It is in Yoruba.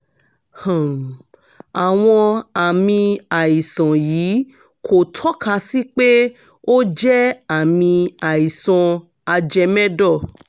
um àwọn àmì àìsàn yìí kò tọ́ka sí pé ó jẹ́ àmì àìsàn ajẹmẹ́dọ̀